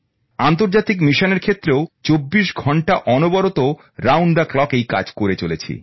আন্তর্জাতিক মিশনের ক্ষেত্রেও ২৪ ঘন্টা অনবরত এই কাজ করেছি